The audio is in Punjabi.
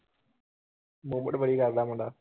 ਮੁੰਡਾ